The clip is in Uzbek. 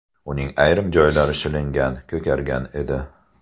Uning ayrim joylari shilingan, ko‘kargan edi.